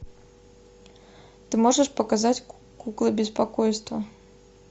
ты можешь показать куклы беспокойства